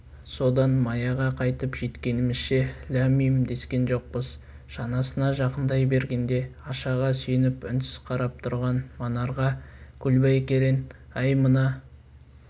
содан маяға қайтып жеткенімізше ләм-мим дескен жоқпыз шанасына жақындай бергенде ашаға сүйеніп үнсіз қарап тұрған манарға көлбай керең әй мына